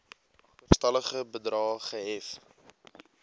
agterstallige bedrae gehef